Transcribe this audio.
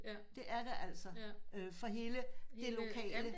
Det er det altså for hele det lokale